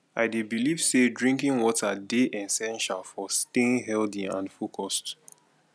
i dey believe say drinking water dey essential for staying healthy and focused